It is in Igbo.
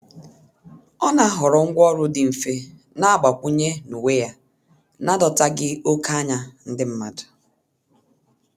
Ọ na-ahọrọ ngwaọrụ dị mfe na-agbakwụnye n'uwe ya n'adọtaghị oke anya ndi mmadu.